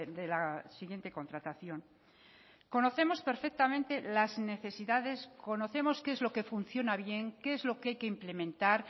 de la siguiente contratación conocemos perfectamente las necesidades conocemos qué es lo que funciona bien qué es lo que hay que implementar